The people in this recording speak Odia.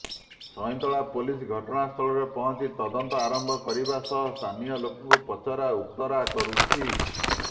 ସଇଁତଳା ପୋଲିସ ଘଟଣାସ୍ଥଳରେ ପହଁଚି ତଦନ୍ତ ଆରମ୍ଭ କରିବା ସହ ସ୍ଥାନୀୟ ଲୋକଙ୍କୁ ପଚରା ଉତରା କରୁଛି